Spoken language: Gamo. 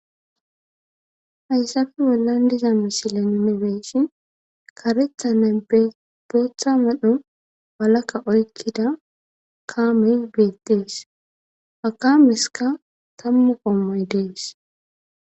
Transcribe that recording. Haysappe bollan diza misile nuni beyishn karethane boththa medho oykida kamey betes ha kameska tamu gomay des in